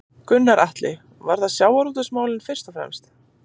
Gunnar Atli: Var það sjávarútvegsmálin fyrst og fremst?